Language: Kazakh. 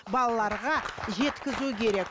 балаларға жеткізу керек